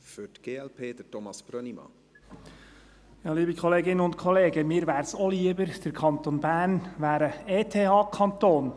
Mir wäre es auch lieber, der Kanton Bern wäre ein ETHKanton.